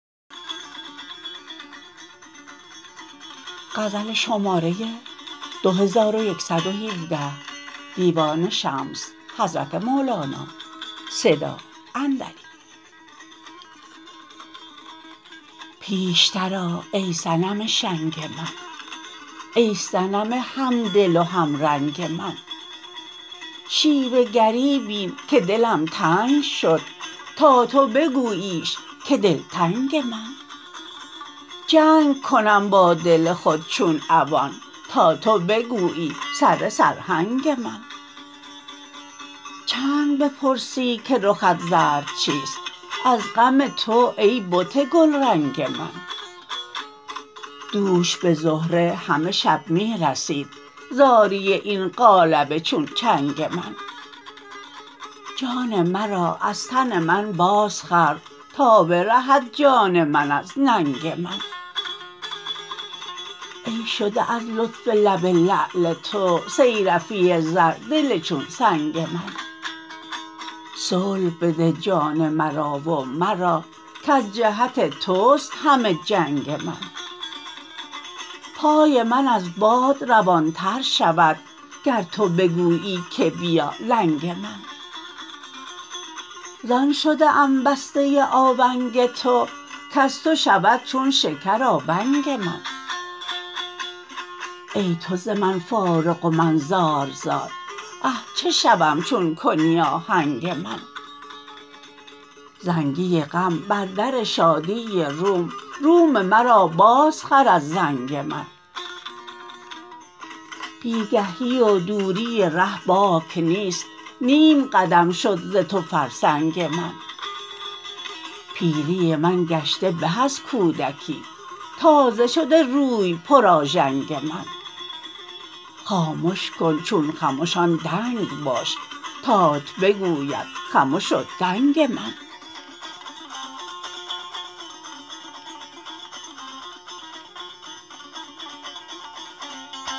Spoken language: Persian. پیشتر آ ای صنم شنگ من ای صنم همدل و همرنگ من شیوه گری بین که دلم تنگ شد تا تو بگوییش که دلتنگ من جنگ کنم با دل خود چون عوان تا تو بگویی سره سرهنگ من چند بپرسی که رخت زرد چیست از غم تو ای بت گلرنگ من دوش به زهره همه شب می رسید زاری این قالب چون چنگ من جان مرا از تن من بازخر تا برهد جان من از ننگ من ای شده از لطف لب لعل تو صیرفی زر دل چون سنگ من صلح بده جان مرا و مرا کز جهت توست همه جنگ من پای من از باد روانتر شود گر تو بگویی که بیا لنگ من زان شده ام بسته آونگ تو کز تو شود چون شکر آونگ من ای تو ز من فارغ و من زار زار اه چه شوم چون کنی آهنگ من زنگی غم بر در شادی روم روم مرا بازخر از زنگ من بی گهی و دوری ره باک نیست نیم قدم شد ز تو فرسنگ من پیری من گشته به از کودکی تازه شده روی پرآژنگ من خامش کن چون خمشان دنگ باش تات بگوید خمش و دنگ من